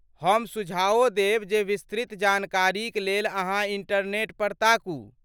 हम सुझाओ देब जे विस्तृत जानकारीक लेल अहाँ इन्टरनेट पर ताकू।